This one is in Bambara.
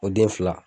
O den fila